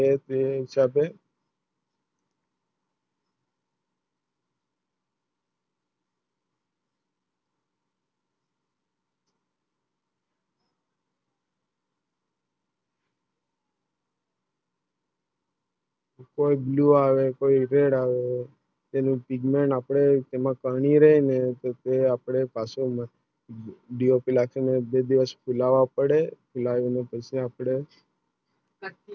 કોઈ Blue આવે કોઈ Red આવે તેનું વિજ્ઞાન આપણે પાછો લાવવા પડે પછી આપણે